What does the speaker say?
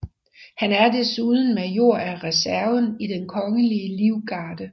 Han er desuden major af reserven i Den Kongelige Livgarde